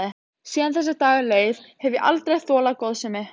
Síðan þessi dagur leið hef ég aldrei þolað góðsemi.